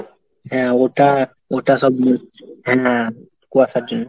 হ্যাঁ ওটা ওটা সব হ্যাঁ কুয়াশার জন্য।